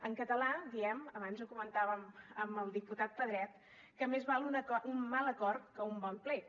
en català diem abans ho comentàvem amb el diputat pedret que més val un mal acord que un bon plet